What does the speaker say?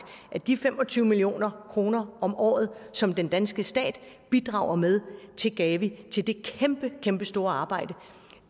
at de fem og tyve million kroner om året som den danske stat bidrager med til gavi til det kæmpestore arbejde